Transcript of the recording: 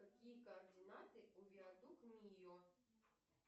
какие координаты у виадук мио